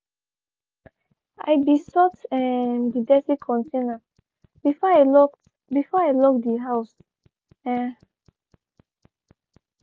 i be sort um de dirty container before i locked before i locked de house. um